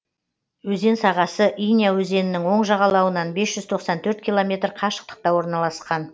өзен сағасы иня өзенінің оң жағалауынан бес жүз тоқсан төрт километр қашықтықта орналасқан